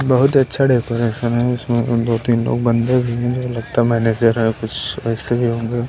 बहुत अच्छा डेकोरेशन है उसमें दो-तीन लोग बंदे भी हैं लगता है मैनेजर है कुछ ऐसे भी होंगे।